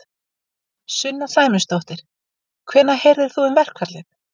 Sunna Sæmundsdóttir: Hvenær heyrðir þú um verkfallið?